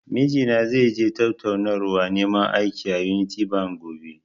Mijina zai je tattaunawar neman aiki, a "Unity bank", gobe.